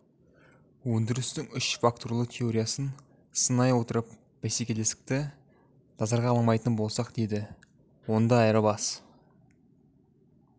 өндірістің үш факторлы теориясын сынай отырып бәсекелестікті назарға алмайтын болсақ деді онда айырбас